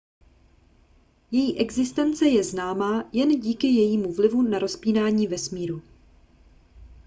její existence je známá jen díky jejímu vlivu na rozpínání vesmíru